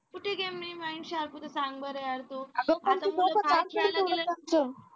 कुठे game ने mind sharp होतं सांग बरं यार